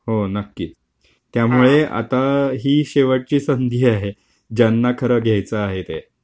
हो नक्की. त्यामुळे आता ही शेवटची संधी आहे. ज्यांना खरं घ्यायचं आहे ते.